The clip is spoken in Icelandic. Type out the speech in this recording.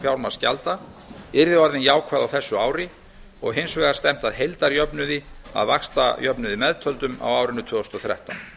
fjármagnsgjalda yrði orðinn jákvæður árið tvö þúsund og ellefu og hins vegar stefnt að heildarjöfnuði að vaxtajöfnuði meðtöldum á árinu tvö þúsund og þrettán